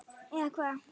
Eða Hvað?